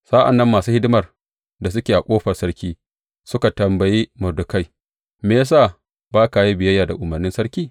Sa’an nan masu hidimar da suke a ƙofar sarki suka tambaye Mordekai, Me ya sa ba ka yin biyayya da umarnin sarki?